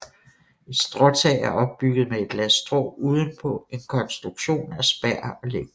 Et stråtag er opbygget med et lag strå udenpå en konstruktion af spær og lægter